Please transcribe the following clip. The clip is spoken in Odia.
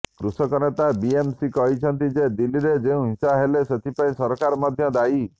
କୃଷକ ନେତା ବିଏମ ସିଂ କହିଛନ୍ତି ଯେ ଦିଲ୍ଲୀରେ ଯେଉଁ ହିଂସା ହେଲେ ସେଥିପାଇଁ ସରକାର ମଧ୍ୟ ଦାୟୀ